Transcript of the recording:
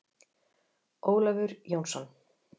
Ólafur Jónsson.